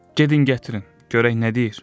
Gedin gətirin, görək nə deyir.